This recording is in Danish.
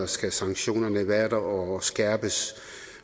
skal sanktionerne være der og skærpes